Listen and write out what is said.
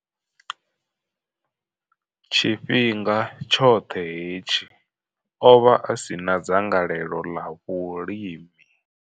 Tshifhinga tshoṱhe hetshi, o vha a si na dzangalelo ḽa vhulimi.